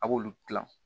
A b'olu dilan